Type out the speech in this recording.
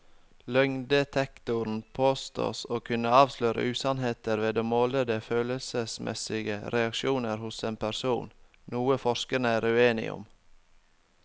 Løgndetektoren påstås å kunne avsløre usannheter ved å måle de følelsesmessige reaksjoner hos en person, noe forskerne er uenige om.